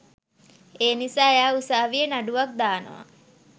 ඒනිසා එයා උසාවියේ නඩුවක් දානව